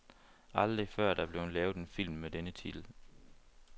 Aldrig før er der lavet en film med denne titel.